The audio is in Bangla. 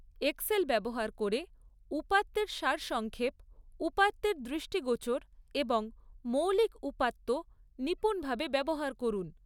এক্সেল ব্যবহার করে উপাত্তের সারসংক্ষেপ, উপাত্তের দৃষ্টিগোচর এবং মৌলিক উপাত্ত নিপূণভাবে ব্যবহার করুন।